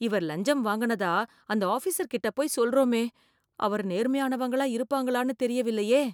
இவர் லஞ்சம் வாங்குனதா, அந்த ஆஃபீஸர் கிட்ட போய் சொல்றோமே, அவர் நேர்மையானவங்களா இருப்பாங்களான்னு தெரியவில்லையே .